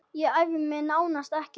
Ég æfði mig nánast ekkert.